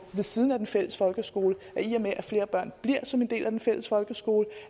ved siden af den fælles folkeskole i og med at flere børn bliver som en del af den fælles folkeskole